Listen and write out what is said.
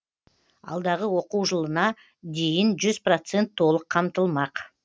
алдағы оқу жылына дейін жүз процент толық қамтылмақ